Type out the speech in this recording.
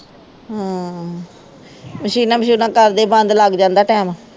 ਹਾਂ ਮਸ਼ੀਨਾਂ ਮਸ਼ੂੂਨਾਂ ਕਰਦੇ ਬੰਦ ਲੱਗ ਜਾਂਦਾ time